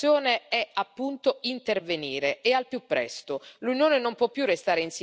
La finalità di questa interrogazione è appunto intervenire e al più presto.